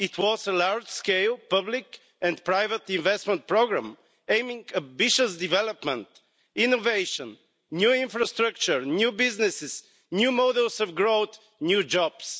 It was a large scale public and private investment programme aiming at ambitious development, innovation, new infrastructure, new businesses, new models of growth, new jobs.